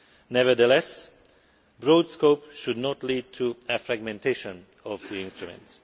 Nevertheless, a broad scope should not lead to a fragmentation of the instruments.